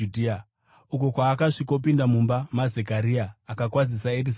uko kwaakasvikopinda mumba maZekaria akakwazisa Erizabheti.